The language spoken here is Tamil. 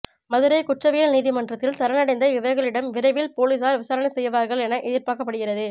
மதுரை குற்றவியல் நீதிமன்றத்தில் சரண் அடைந்த இவர்களிடம் விரைவில் போலீசார் விசாரணை செய்வார்கள் என எதிர்பார்க்கப்படுகிறது